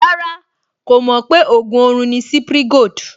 Rárá, kò mọ̀ pé ògùn orun ni Cipri Gold